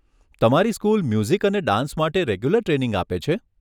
તમારી school music અને dance માટે રેગ્યુલર ટ્રેનિંગ આપે છે?